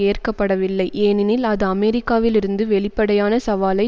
ஏற்கப்படவில்லை ஏனெனில் அது அமெரிக்காவில் இருந்து வெளிப்படையான சவாலை